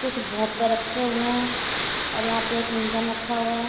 कुछ भोपे रखे हुए हैं और यहां पे एक इंजन रखा हुआ है।